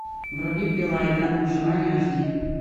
вруби пила игра на выживание аш ди